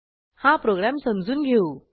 हा प्रोग्रॅम समजून घेऊ